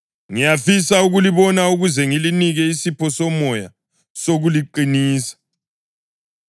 Ngiyafisa ukulibona ukuze ngilinike isipho somoya sokuliqinisa,